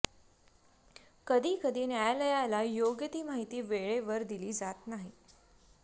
कधीकधी न्यायालयाला योग्य ती माहिती वेळेवर दिली जात नाही